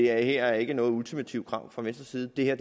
er ikke noget ultimativt krav fra venstres side det er